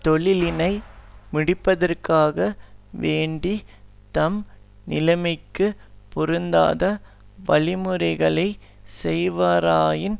தொழிலினை முடிப்பதற்காக வேண்டி தம் நிலைமைக்குப் பொருந்தாத வழிமுறைகளை செய்வாராயின்